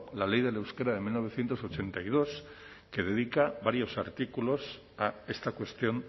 la ley del euskera de mil novecientos ochenta y dos que dedica varios artículos a esta cuestión